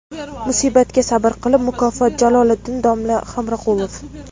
Musibatga sabr qilib – mukofot – Jaloliddin domla Hamroqulov.